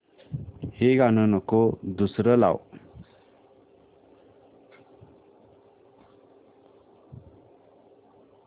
हे गाणं नको दुसरं लाव